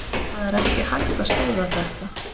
Það er ekki hægt að stöðva þetta.